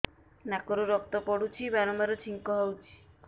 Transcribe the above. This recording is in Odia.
ନାକରୁ ରକ୍ତ ପଡୁଛି ବାରମ୍ବାର ଛିଙ୍କ ହଉଚି